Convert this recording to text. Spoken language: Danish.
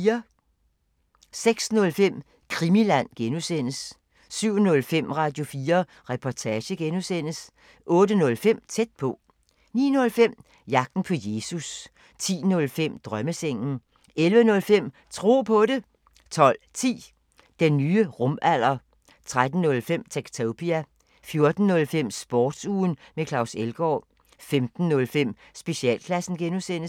06:05: Krimiland (G) 07:05: Radio4 Reportage (G) 08:05: Tæt på 09:05: Jagten på Jesus 10:05: Drømmesengen 11:05: Tro på det 12:10: Den nye rumalder 13:05: Techtopia 14:05: Sportsugen med Claus Elgaard 15:05: Specialklassen (G)